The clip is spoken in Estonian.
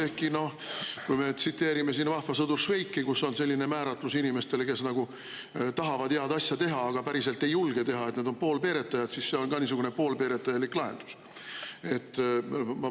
Ehkki noh, kui me tsiteerime "Vahva sõdur Švejki", kus on selline määratlus inimeste kohta, kes nagu tahavad head asja teha, aga päriselt ei julge teha, et nad on poolpeeretajad, siis see on ka niisugune poolpeeretajalik lahendus.